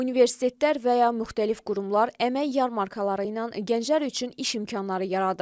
Universitetlər və ya müxtəlif qurumlar əmək yarmarkaları ilə gənclər üçün iş imkanları yaradır.